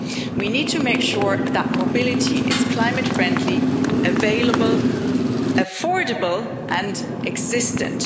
We need to make sure that mobility is climate friendly, available, affordable and existent.